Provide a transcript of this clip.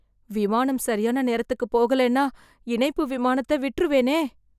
விமானம் சரியான நேரத்துக்குப் போகலேன்னா இணைப்பு விமானத்த விட்ருவேனே.